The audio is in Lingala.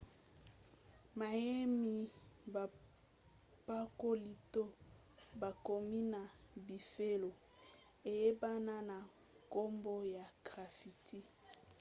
mayemi bapakoli to bakomi na bifelo eyebana na nkombo ya graffiti